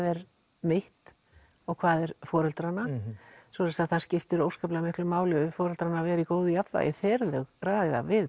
er mitt og hvað er foreldrana það skiptir miklu máli fyrir foreldrana að vera í jafnvægi þegar þau ræða við